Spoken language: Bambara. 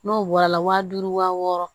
N'o bɔra la waa duuru wa wɔɔrɔ